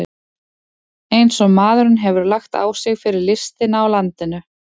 Eins og maðurinn hefur lagt á sig fyrir listina í landinu!